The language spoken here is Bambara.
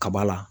Kaba la